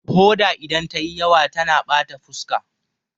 Hoda idan ta yi yawa tana bata fuska